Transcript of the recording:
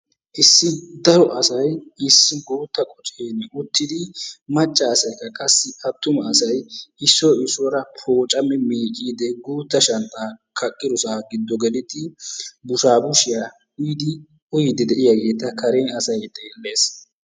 Issi daro asay issi guuttaa qoccen uttidi macca asaykka qassi attuma issoy issuwara pooccammi miicciidi guuttaa shanxxaa kaqqiddossaa giddo gelidi bushabushiya uyidi uyiidi de'iyageeta karen asay xeellees.